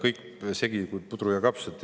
Teil on kõik segi nagu pudru ja kapsad.